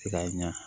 I ka ɲa